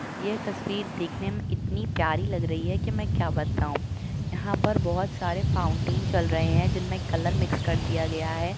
ये तस्वीर देखने में इतनी प्यारी लग रही है की मई क्या बताऊ। यहाँ पर बहुत सारे फाउंटेन चल रहे हैं। जिनमे कलर मिक्स कर दिया गया है।